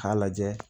K'a lajɛ